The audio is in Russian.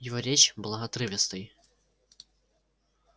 его речь была отрывистой